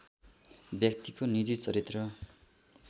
व्यक्तिको निजी चरित्र